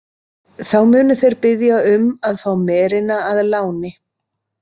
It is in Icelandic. Þá munu þeir biðja um að fá merina að láni.